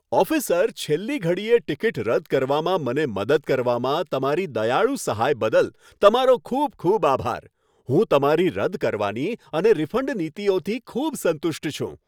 Officer, છેલ્લી ઘડીએ ticket રદ કરવામાં મને મદદ કરવામાં તમારી દયાળુ સહાય બદલ, તમારો ખૂબ ખૂબ આભાર. હું તમારી રદ કરવાની અને રિફંડ નીતિઓથી ખૂબ સંતુષ્ટ છું.